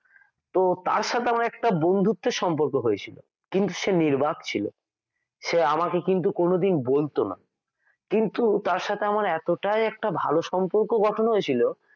তো তার সাথে আমার একটা বন্ধুত্বের সম্পর্ক হয়েছিল কিন্তু সে নির্বাক ছিল সে কিন্তু আমাকে কোনদিন বলতো না তো তার সাথে আমার এতটাই একটা ভালো সম্পর্ক গঠন হয়েছিল